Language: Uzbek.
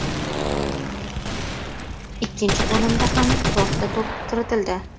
Ikkinchi bo‘limda ham to‘rtta to‘p kiritildi.